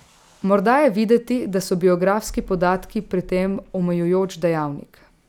Morda je videti, da so biografski podatki pri tem omejujoč dejavnik.